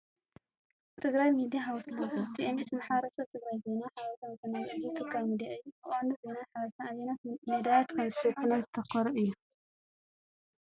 ትግራይ ሚድያ ሃውስ ሎጎ። TMH ንማሕበረሰብ ትግራይ ዜና፣ ሓበሬታ፣ መዘናግዒ ዝህብ ትካል ሚድያ እዩ። ብቐንዱ ዜናን ሓበሬታን ኣየኖት መዳያት ከም ዝሽፈኑ ዘተኮረ እዩ?